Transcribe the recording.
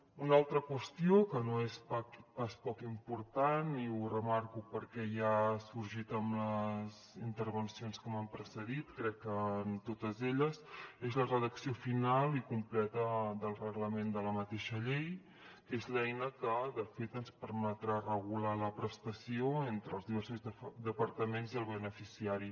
una altra qüestió que no és pas poc important i ho remarco perquè ja ha sorgit amb les intervencions que m’han precedit crec que en totes elles és la redacció final i completa del reglament de la mateixa llei que és l’eina que de fet ens permetrà regular la prestació entre els diversos departaments i el beneficiari